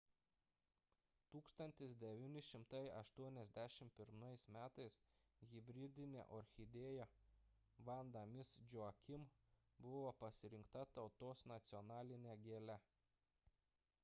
1981 m hibridinė orchidėja vanda miss joaquim buvo pasirinkta tautos nacionaline gėle